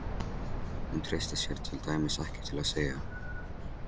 Hún treysti sér til dæmis ekki til að segja